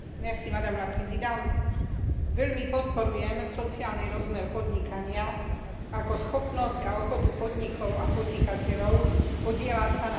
Veľmi podporujem sociálny rozmer podnikania ako schopnosť a ochotu podnikov a podnikateľov podieľať sa na pomoci tým, ktorí to potrebujú.